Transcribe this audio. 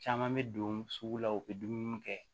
Caman bɛ don sugu la u bɛ dumuni kɛ